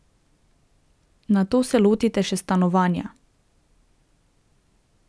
Nato se lotite še stanovanja.